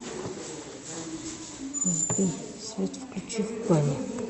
сбер свет включи в бане